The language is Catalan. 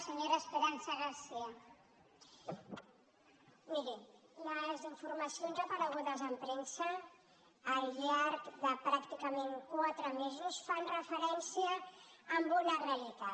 miri les informacions aparegudes en premsa al llarg de pràcticament quatre mesos fan referència a una realitat